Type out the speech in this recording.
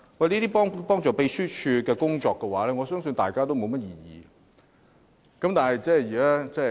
這些幫助秘書處工作的修訂建議，我相信大家也沒有異議。